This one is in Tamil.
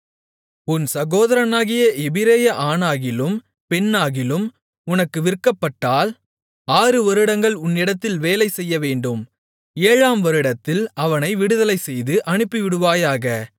உன் சதோதரனாகிய எபிரெய ஆணாகிலும் பெண்ணாகிலும் உனக்கு விற்கப்பட்டால் ஆறு வருடங்கள் உன்னிடத்தில் வேலைசெய்யவேண்டும் ஏழாம் வருடத்தில் அவனை விடுதலைசெய்து அனுப்பிவிடுவாயாக